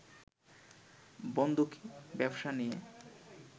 বন্ধকি ব্যবসা নিয়ে